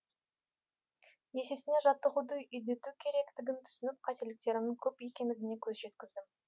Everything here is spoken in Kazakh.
есесіне жаттығуды үдету керектігін түсініп қателіктерімнің көп екендігіне көз жеткіздім